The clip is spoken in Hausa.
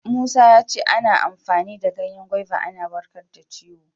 Musa ya ce ana amfani da ganyen gwaiva ana warkar da ciwo.